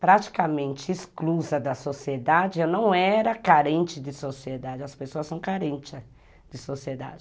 praticamente exclusa da sociedade, eu não era carente de sociedade, as pessoas são carentes de sociedade.